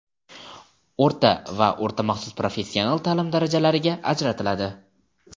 o‘rta va o‘rta maxsus professional taʼlim darajalariga ajratiladi.